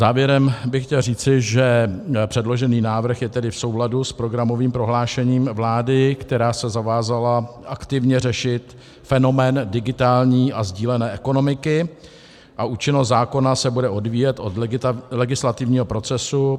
Závěrem bych chtěl říci, že předložený návrh je tedy v souladu s programovým prohlášením vlády, která se zavázala aktivně řešit fenomén digitální a sdílené ekonomiky, a účinnost zákona se bude odvíjet od legislativního procesu.